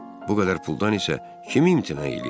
Bu qədər puldan isə kim imtina eləyər?